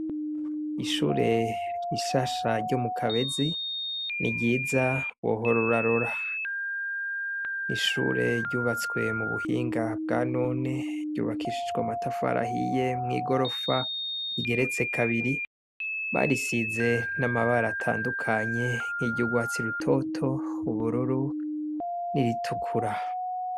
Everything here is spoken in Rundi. Ishure rishasharyo mu kabezi ni ryiza wohororarora n'ishure ryubatswe mu buhinga bwa none ryubakishijwa matafarahiye mw'i gorofa igeretse kabiri barisize n'amabara atandukanye nk'iryougwatsi ruto oto hubororo niritukura.